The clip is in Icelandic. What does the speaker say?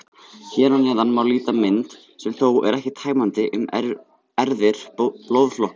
Hér að neðan má líta mynd, sem þó er ekki tæmandi, um erfðir blóðflokkanna.